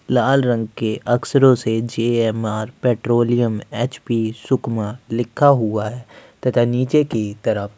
लाल रंग के अक्षरों से जे_एम_आर _ पेट्रोलियम एच_पी सुकमा लिखा लिखा हुआ है तथा नीचे की तरफ--